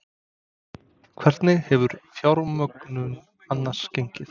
Hvernig hefur fjármögnun annars gengið?